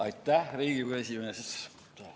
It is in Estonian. Aitäh, Riigikogu esimees!